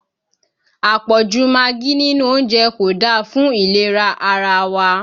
Àpọ̀jù magí nínú oúnjẹ kò da fún ìlera ara wa